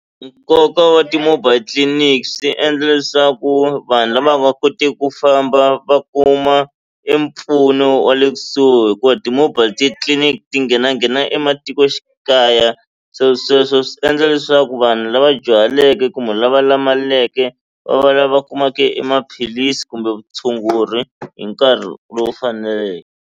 Nkoka wa ti-mobile clinic swi endla leswaku vanhu lava nga koteki ku famba va kuma e mpfuno wa le kusuhi hikuva ti-mobile titliliniki ti nghena nghena emati matikoxikaya se sweswo swi endla leswaku vanhu lava dyuhaleke kumbe lava lulameleke va va lava kumaka e maphilisi kumbe vutshunguri hi nkarhi lowu faneleke.